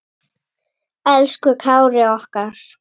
Elsku Kári okkar.